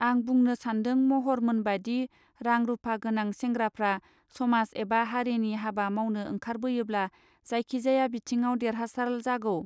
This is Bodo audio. आं बुंनो सान्दों महर मोनबादि रां रूपा गोनां सेंग्राफ्रा समाज एबा हारिनि हाबा माउनो ओंखारबोयोब्ला जायखि जाया बिथिङाव देरहासाल जागौ.